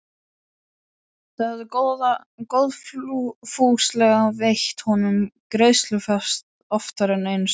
Þau hafa góðfúslega veitt honum greiðslufrest oftar en einu sinni.